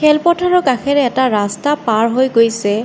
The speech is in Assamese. খেলপথাৰৰ কাষেৰে এটা ৰাস্তা পাৰ হৈ গৈছে।